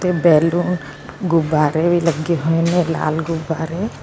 Balloon ਗੁਬਾਰੇ ਵੀ ਲੱਗੇ ਹੋਏ ਨੇ ਲਾਲ ਗੁਬਾਰੇ।